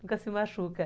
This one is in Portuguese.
Nunca se machuca.